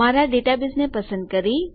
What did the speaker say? મારા ડેટાબેઝને પસંદ કરી